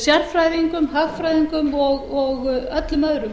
sérfræðingum hagfræðingum og öllum öðrum